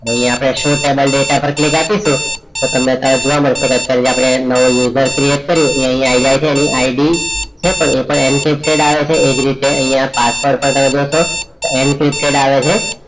હવે આપણે show table data પર click કરીશુ તો તમને અત્યારે જોવા મળશે કે અત્યારે જે નવું user create કરીએ એ અહીંયા આઇ જાય છે એની ID છે એ પણ એમ આવે છે એજ રીતે અહીંયા password પણ તમે જોશો m twisted આવે છે